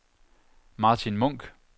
Martin Munch